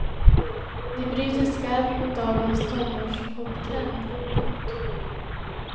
De bryter skarpt mot dagens tonårspoptrend. punkt